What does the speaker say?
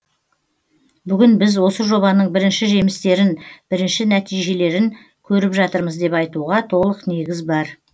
бүгін біз осы жобаның бірінші жемістерін бірінші нәтижелерін көріп жатырмыз деп айтуға толық негіз бар